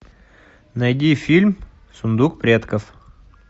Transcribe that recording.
найди фильм сундук предков